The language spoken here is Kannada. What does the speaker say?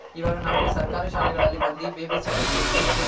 ಇವಾಗ ನಾವು ಸರ್ಕಾರಿ ಶಾಲೆಗಳಲ್ಲಿ ಬಂದಿ Baby Sitting ತರ ಇ Free KG